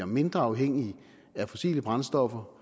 mindre afhængigt af fossile brændstoffer